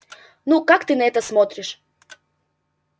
ну как ты на это смотришь